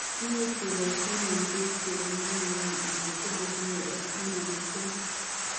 Imuch kebaisien eng piik chengeringeen ana chematinye F taman ak somok